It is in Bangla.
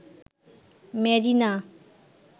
মেরিনা